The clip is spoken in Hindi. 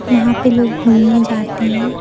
यहां पे लोग घूमने जाते है।